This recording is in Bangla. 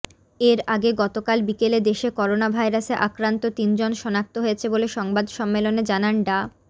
এর আগে গতকাল বিকেলে দেশে করোনাভাইরাসে আক্রান্ত তিনজন শনাক্ত হয়েছে বলে সংবাদ সম্মেলনে জানান ডা